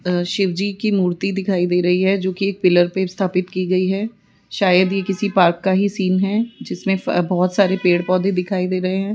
अ शिवजी की मूर्ति दिखाई दे रही है जोकि एक पिलर पर स्थापित की गई है शायद यह किसी पार्क का ही सीन है जिसमें बहोत सारे पेड़ पौधे दिखाई दे रहे हैं।